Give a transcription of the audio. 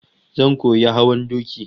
Zan koyi hawan doki